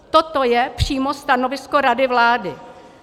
Toto je přímo stanovisko rady vlády.